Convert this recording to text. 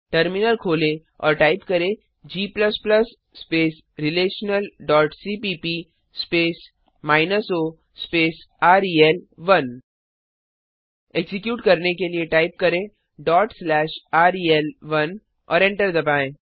terminal खोलें और type करें g relationalसीपीप स्पेस माइनस ओ स्पेस रेल1 एक्जीक्यूट करने के लिए टाइप करें रेल1 और एंटर दबाएँ